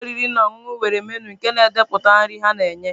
Ụlọ oriri na ọṅụṅụ nwere menụ nke na-edepụta nri ha na-enye.